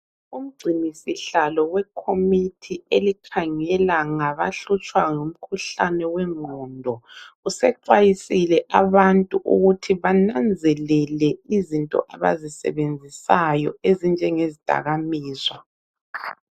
Umgcinisihlalo wekhomithi elikhangela ngabahlutshwa ngumkhuhlane wengqondo usexwayisile abantu ukuthi bananzelele izinto abazisebenzisayo ezinjengezidakamizwa.